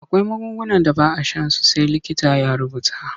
Akwai magungunan da ba a shan su sai likita ya rubuta.